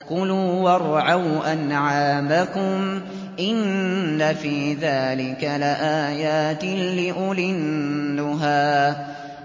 كُلُوا وَارْعَوْا أَنْعَامَكُمْ ۗ إِنَّ فِي ذَٰلِكَ لَآيَاتٍ لِّأُولِي النُّهَىٰ